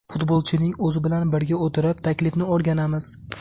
Futbolchining o‘zi bilan birga o‘tirib, taklifni o‘rganamiz.